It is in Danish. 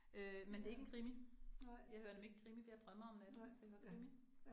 Øh men det ikke en krimi, jeg hører nemlig ikke krimi for jeg drømmer om natten, så jeg hører krimi